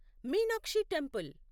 Meenakshi temple